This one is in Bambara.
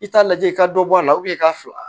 I t'a lajɛ i ka dɔ bɔ a la i ka fila